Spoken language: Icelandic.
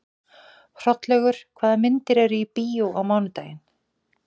Hrollaugur, hvaða myndir eru í bíó á mánudaginn?